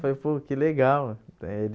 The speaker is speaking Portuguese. Falei, pô, que legal eh ele.